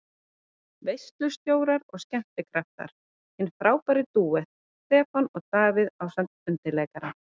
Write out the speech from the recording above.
Veislustjórar og skemmtikraftar: Hinn frábæri dúett, Stefán og Davíð ásamt undirleikara.